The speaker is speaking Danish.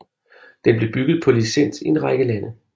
Den blev bygget på licens i en række lande